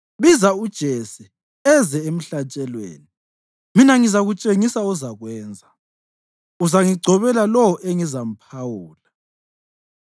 Biza uJese eze emhlatshelweni, mina ngizakutshengisa ozakwenza. Uzangigcobela lowo engizamphawula.”